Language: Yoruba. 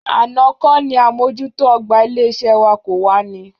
Àná kọ́ ni àmójútó ọ̀gbà ilé-iṣẹ́ wa kò wá ní?